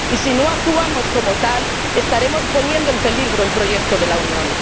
Y, si no actuamos como tales, estaremos poniendo en peligro el proyecto de la Unión.